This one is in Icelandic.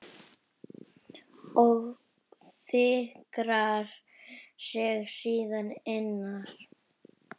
Og fikrar sig síðan innar?